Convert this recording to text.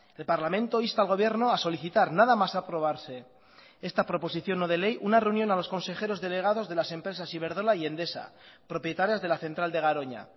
el parlamento insta al gobierno a solicitar nada más aprobarse esta proposición no de ley una reunión a los consejeros delegados de las empresas iberdrola y endesa propietarias de la central de garoña